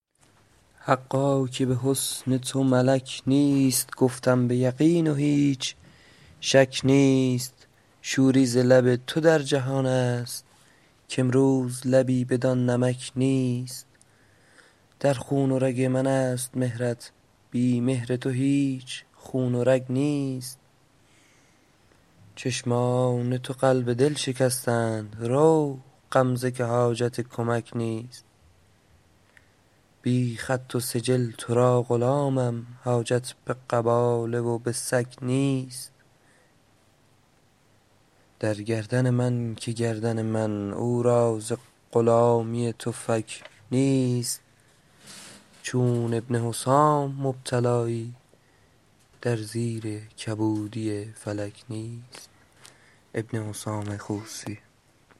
حقا که به حسن تو ملک نیست گفتم به یقین و هیچ شک نیست شوری ز لب تو در جهان است کامروز لبی بدان نمک نیست در خون و رگ من است مهرت بی مهر تو هیچ خون و رگ نیست چشمان تو قلب دل شکستند رو غمزه که حاجت کمک نیست بی خط و سجل تو را غلامم حاجت به قباله و به صک نیست در گردن من که گردن من او را ز غلامی تو فک نیست چون ابن حسام مبتلایی در زیر کبودی فلک نیست